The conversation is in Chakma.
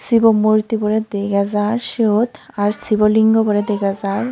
Shiv o roomot murti boray dega jaar siyot aar sivolingoboray dega jaar.